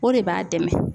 O de b'a dɛmɛ